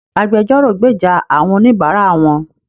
Agbẹjọ́rò gbèjà àwọn oníbara wón.